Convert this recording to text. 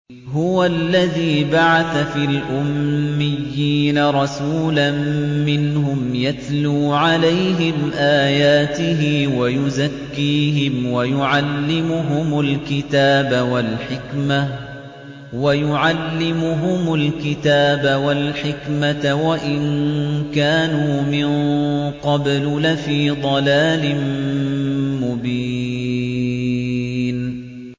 هُوَ الَّذِي بَعَثَ فِي الْأُمِّيِّينَ رَسُولًا مِّنْهُمْ يَتْلُو عَلَيْهِمْ آيَاتِهِ وَيُزَكِّيهِمْ وَيُعَلِّمُهُمُ الْكِتَابَ وَالْحِكْمَةَ وَإِن كَانُوا مِن قَبْلُ لَفِي ضَلَالٍ مُّبِينٍ